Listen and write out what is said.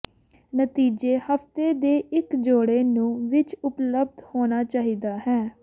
ਨਤੀਜੇ ਹਫ਼ਤੇ ਦੇ ਇੱਕ ਜੋੜੇ ਨੂੰ ਵਿੱਚ ਉਪਲੱਬਧ ਹੋਣਾ ਚਾਹੀਦਾ ਹੈ